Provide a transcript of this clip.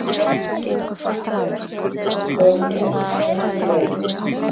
JÓHANNES: Þekkið þér?